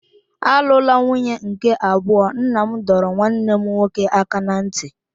Alụla nwunye nke abụọ! Nna m dọrọ nwanne m nwoke aka ná ntị.